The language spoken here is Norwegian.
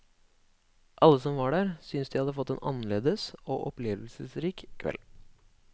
Alle som var der synes de hadde fått en annerledes og opplevelsesrik kveld.